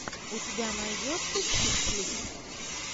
у тебя найдется чик флик